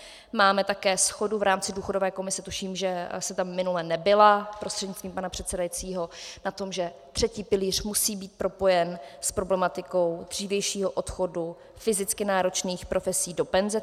Máme také shodu v rámci důchodové komise, tuším, že jste tam minule nebyla prostřednictvím pana předsedajícího, na tom, že třetí pilíř musí být propojen s problematikou dřívějšího odchodu fyzicky náročných profesí do penze.